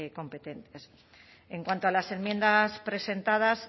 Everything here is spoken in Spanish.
competentes en cuanto a las terminas presentadas